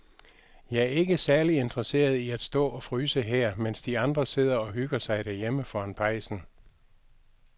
Jeg er ikke særlig interesseret i at stå og fryse her, mens de andre sidder og hygger sig derhjemme foran pejsen.